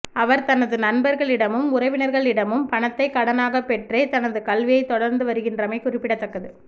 அவர் தனது நண்பர்களிடமும் உறவினர் களிடமும் பணத்தைக் கடனாகப் பெற்றே தனது கல்வியைத் தொடர்ந்து வருகின்றமை குறிப்பிடத்தக்கது